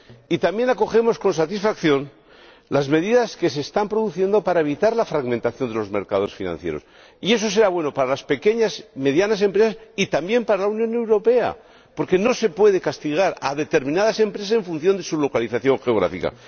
Y también acogemos con satisfacción las medidas que se están produciendo para evitar la fragmentación de los mercados financieros y eso será bueno para las pequeñas y medianas empresas y también para la Unión Europea, porque no se puede castigar a determinadas empresas en función de su localización geográfica.